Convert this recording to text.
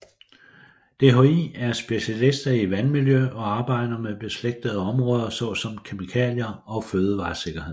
DHI er specialister i vandmiljø og arbejder med beslægtede områder såsom kemikalier og fødevaresikkerhed